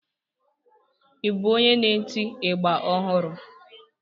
Ị bụ onye n'eti ịgba ọhụrụ?